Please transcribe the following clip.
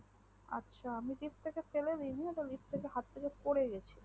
আচ্ছা আমি ওটা লিফ্ট থেকে ফেলে দিইনি হাত থেকে পরে গেছিলো